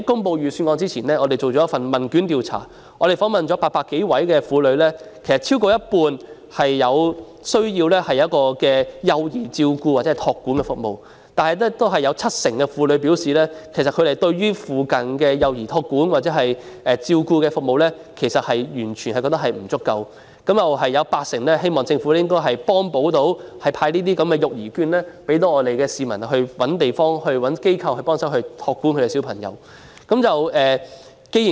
在預算案公布前，我們曾進行問卷調查，訪問了800多名婦女，超過半數婦女表示需要幼兒照顧或託管服務，但有七成婦女表示，附近的幼兒託管或照顧服務完全不足；也有八成婦女希望政府能夠派發育兒券，方便市民尋找地方或機構託管小孩。